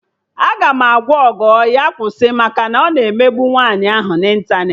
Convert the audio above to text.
Aga m agwa Ogo ya kwụsị maka na ọ na-emegbu nwaanyị ahụ na ịntanetị